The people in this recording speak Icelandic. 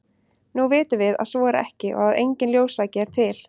nú vitum við að svo er ekki og að enginn ljósvaki er til